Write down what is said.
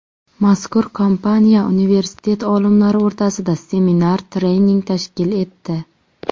Mazkur kompaniya universitet olimlari o‘rtasida seminar-trening tashkil etdi.